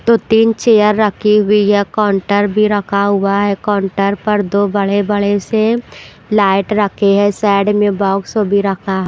तो तीन चेयर रखी हुई है काउंटर भी रखा हुआ है काउंटर पर दो बड़े-बड़े से लाइट रखे हैं साइड में बॉक्स हो भी रखा।